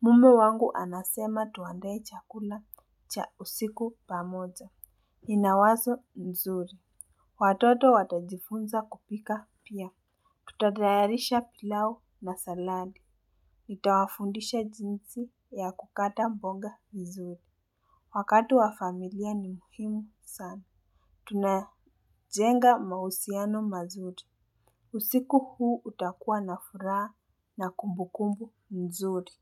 Mume wangu anasema tuandae chakula cha usiku pamoja. Ina wazo nzuri. Watoto watajifunza kupika pia. Tutatayarisha pilau masalani. Ntawafundisha jinsi ya kukata mboga vizuri. Wakati wa familia ni muhimu sana. Tunajenga mausiano mazuri. Usiku huu utakua na furaa na kumbukumbu nzuri.